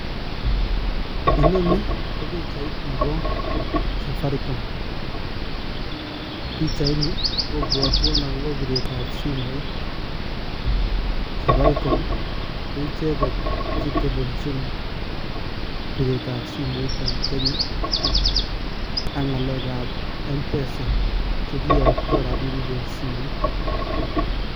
Inoni ko pichait nebo safaricom. Pichaini kobwotwon akobo piret ab simoit safaricom ii, koicheket chetelelchin piret ab simoit en Kenya ak ngalekab mpesa, chekiyokto rapinik en simoit.